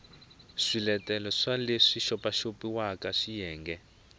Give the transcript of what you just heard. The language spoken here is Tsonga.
swiletelo swa leswi xopaxopiwaka xiyenge